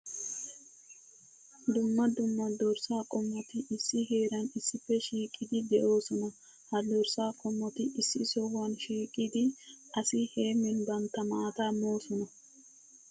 Dumma dumma dorssa qommotti issi heeran issippe shiiqiddi de'ossonna. Ha dorssa qommotti issi sohuwan shiiqqiddi asi heemin bantta maata moosonna.